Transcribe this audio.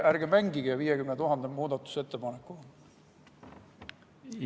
Ärge mängige 50 000 muudatusettepanekuga!